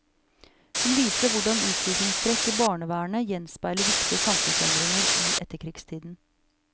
Hun viser hvordan utviklingstrekk i barnevernet gjenspeiler viktige samfunnsendringer i etterkrigstiden.